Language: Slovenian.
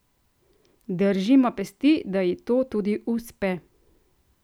Držimo pesti, da ji to tudi uspe!